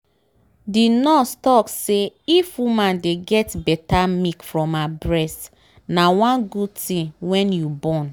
the nurse talk say if woman dey get better milk from her breast na one good thing when you born